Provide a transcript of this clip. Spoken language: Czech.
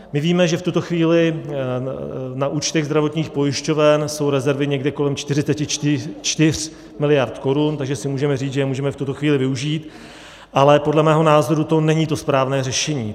My víme, že v tuto chvíli na účtech zdravotních pojišťoven jsou rezervy někde kolem 44 miliard korun, takže si můžeme říct, že je můžeme v tuto chvíli využít, ale podle mého názoru to není to správné řešení.